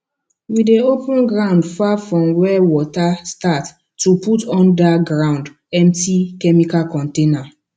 we dey open ground far from where water start to put under ground empty chemical container